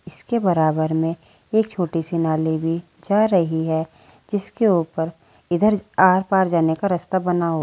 इसके बराबर में एक छोटी सी नाली भी जा रही है जिसके ऊपर इधर आर पार जाने का रास्ता बना--